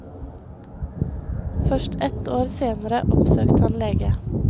Først ett år senere oppsøkte han lege.